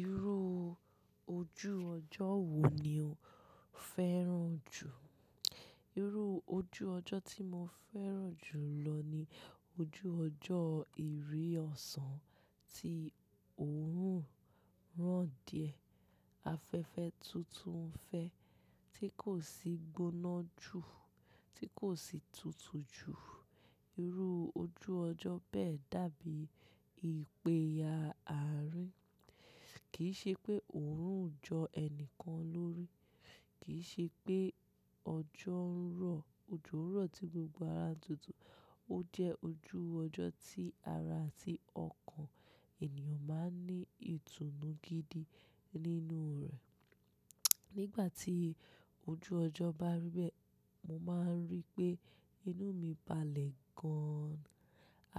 Irú ojú ọjọ́ wo ni o fẹ́ràn jù? Irú ojú ọjọ́ tí mo fẹ́ràn jù lọ ni ojú ọjọ́ ìri ọ̀sán, tí òórùn rán díẹ̀, ti afẹ́fẹ́ tuntun fẹ́ tí kò sì gbóná jù, tí kò sì tutù jù. Irú ojú ọjọ́ bẹ́ẹ̀ dàbí ìpèyà àárín, kì í ṣe pé òórùn ń jọ ẹnìkan lórí, kì í ṣe pé ọjọ́ ń rọ̀, òjò ń rọ̀ tí gbogbo ara ń tutù. Ó jẹ́ ojú ọjọ́ tí ara àti ọkàn ènìyàn máa ń ní ìtùnú gidi nínú rẹ̀. Nígbà tí ojú ọjọ́ bá rí bẹ́ẹ̀, mo máa ń rí pé inú mi balẹ̀ gan-an.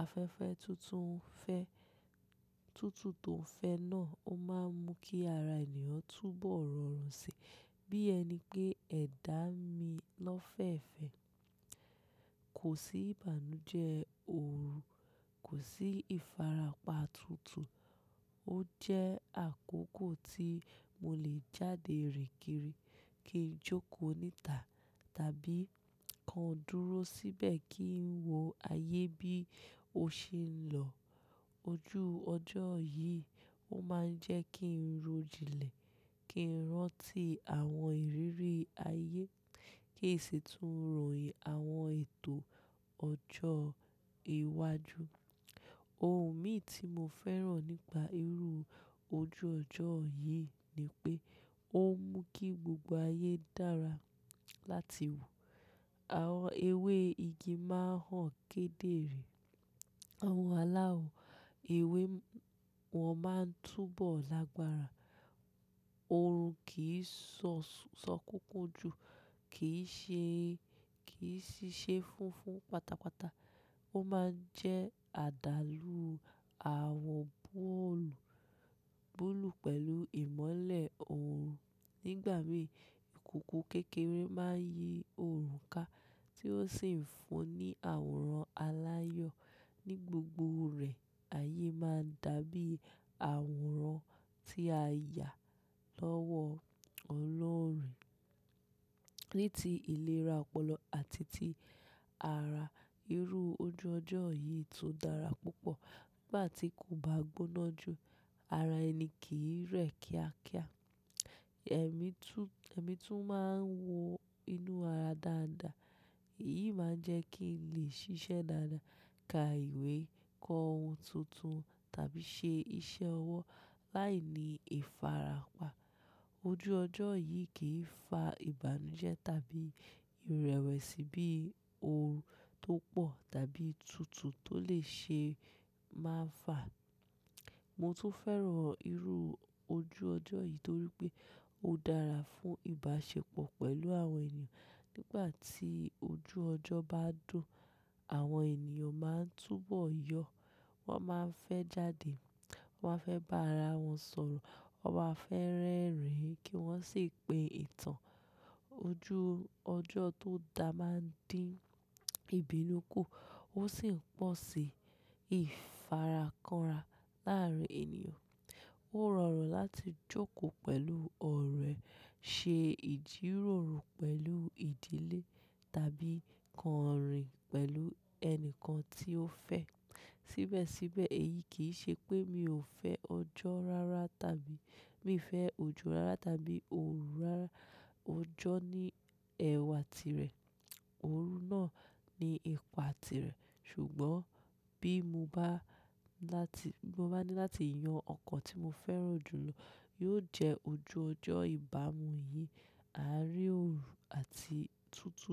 Afẹ́fẹ́ tuntun fẹ́-- tutu tó ń fẹ́ náà ó máa ń mú kí ara ènìyàn túbọ̀ rọrùn si, bí ẹni pé ẹ̀dá mi lọ́ fẹ̀fẹ̀. Kò sí ìbànújẹ́ ooru, kò sí ìfarapa tutù. Ó jẹ́ àkókò tí mo lè jáde rìn kiri kí n jóko níta tàbí kan dúró síbẹ̀ kí n wo ayé bí ó ṣe ń lọ. Ojú ọjọ́ yìí ó máa ń jẹ́ kí n ro jinlẹ̀, kí n rántí àwọn ìrírí ayé, kí n sì tún ròyìn àwọn ètò ọjọ́ ìwájú. Ohùn mi tí mo fẹ́ràn nípa irú ojú ọjọ́ yìí ni pé ó ń mú kí gbogbo ayé dára láti wò. Àwọn ewé igi máa ń hàn kedere, àwọn aláwọ̀ ewé wọ́n máa ń túbọ̀ lágbára. Ooru kì í ṣọ ṣọ kúkú jù, kì í ṣe kì í ṣiṣẹ́ funfun pátápátá. Ó máa ń jẹ́ àdálù àwọn boolù bulù pẹ̀lú ìmọ́lẹ̀ ooru. Nígbà mìí, ìkòkò kékeré máa ń yi ooru ká tí ó sì ń fún ní àwòrán aláyọ̀. Ni gbogbo rẹ̀, ayé máa ń dàbí àwòrán tí a yà lọ́wọ́ ọlọ́rùn. Ní ti ìlera ọpọlọ àti ti ara, irú ojú ọjọ́ yìí tó dára púpọ̀. Nígbà tí kò bá gbóná jù, ara ẹni kì í rẹ̀ kíákíá, ẹ̀mí tún ẹ̀mí tún máa ń wọ inú ara dáadáa. Èyí máa ń jẹ́ kí n lè ṣiṣẹ́ dáadáa, ka ìwé, kọ ohun tuntun tàbí ṣe iṣẹ́ ọwọ́ láìní ìfarapa. Ojú ọjọ́ yìí kì í fa ìbànújẹ́ tàbí ìrẹ̀wẹ̀sì bí ooru tó pọ̀ tàbí tutù tó lè ṣe máa fà. Mo tún fẹ́ràn irú ojú ọjọ́ yìí torí pé ó dára fún ìbáṣepọ̀ pẹ̀lú àwọn ènìyàn. Nígbà tí ojú ọjọ́ bá dùn, àwọn ènìyàn máa ń túbọ̀ yọ, wọ́n máa ń fẹ́ jáde, wọ́n á fẹ́ bá ara wọn sọ̀rọ̀, wọ́n má fẹ́ rẹ́rìn-ín kí wọ́n sì pe ìtàn. Ojú ọjọ́ tó dá máa ń dín ìbínú kù, ó sì ń pọ̀ sí ìfarakanra láàárín ènìyàn. Ó rọrùn láti jókòó pẹ̀lú ọ̀rẹ́, ṣe ìjíròrò pẹ̀lú ìdílé tàbí kàn rìn pẹ̀lú ẹni kan tí ó fẹ́. Síbẹ̀síbẹ̀ èyí kì í ṣe pé mi ò fẹ́ ọjọ́ rara tàbí mi ò fẹ́ òjò rara tàbí ooru rara. Ọjọ́ ní ẹwà tirẹ̀, ooru náà ní ipa tirẹ̀. Ṣùgbọ́n bí mo bá ní láti, bí mo bá ní láti yan ọkàn tí mo fẹ́ràn jù lọ, yóò jẹ́ ojú ọjọ́ ìbámu yìí, àrín ooru àti tutù.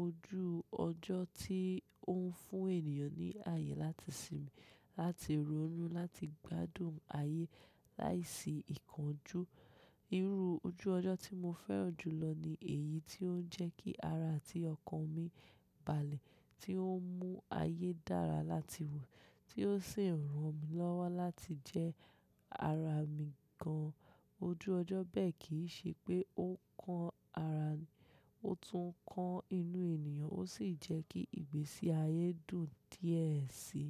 Ojú ọjọ́ tí ó ń fún ènìyàn ní ayé láti sinmi, láti ronú, láti gbádùn ayé láìsí ìkánjú. Irú ojú ọjọ́ tí mo fẹ́ràn jù lọ ni èyí tí ó ń jẹ́ kí ara àti ọkàn mi balẹ̀, tí ó ń mú ayé dára láti wò, tí ó sì ń ran mi lọ́wọ́ láti jẹ́ ara mi gan. Ojú ọjọ́ bẹ́ẹ̀ kì í ṣe pé ó kan ara, ó tún kan inú ènìyàn, ó sì jẹ́ kí ìgbésí ayé dùn díẹ̀ síi.